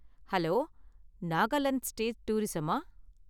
Hello! Nagaland state டூரிஸமா?